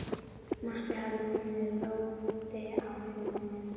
Matti hafði komið róti á huga minn.